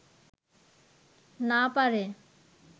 না পারে